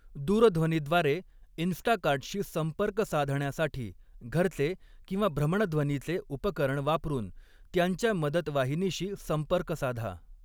दूरध्वनीद्वारे इन्स्टाकार्टशी संपर्क साधण्यासाठी घरचे किंवा भ्रमणध्वनीचे उपकरण वापरून त्यांच्या मदतवाहिनीशी संपर्क साधा.